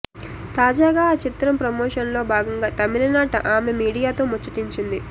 తాజాగా ఆ చిత్రం ప్రమోషన్లో భాగంగా తమిళనాట ఆమె మీడియాతో ముచ్చటించింది